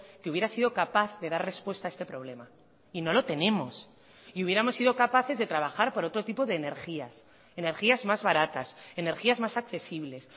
que hubiera sido capaz de dar respuesta a este problema y no lo tenemos y hubiéramos sido capaces de trabajar por otro tipo de energías energías más baratas energías más accesibles